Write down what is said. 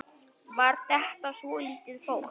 Var þetta svolítið flókið?